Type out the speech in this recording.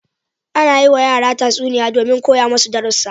Ana yiwa yara tatsuniya domin koya masu darussa.